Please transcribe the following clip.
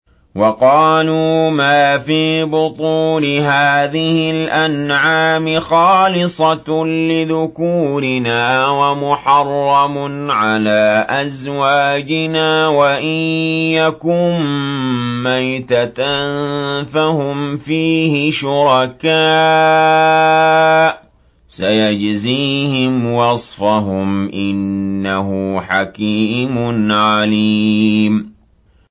وَقَالُوا مَا فِي بُطُونِ هَٰذِهِ الْأَنْعَامِ خَالِصَةٌ لِّذُكُورِنَا وَمُحَرَّمٌ عَلَىٰ أَزْوَاجِنَا ۖ وَإِن يَكُن مَّيْتَةً فَهُمْ فِيهِ شُرَكَاءُ ۚ سَيَجْزِيهِمْ وَصْفَهُمْ ۚ إِنَّهُ حَكِيمٌ عَلِيمٌ